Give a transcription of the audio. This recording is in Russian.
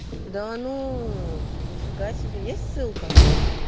да ну нифига себе есть ссылка